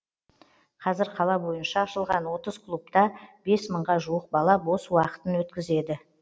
қазір қала бойынша ашылған отыз клубта бес мыңға жуық бала бос уақытын өткізеді